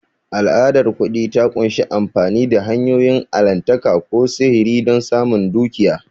Al'adar kuɗi ta ƙunshi amfani da hanyoyin allahntaka ko sihiri don samun dukiya.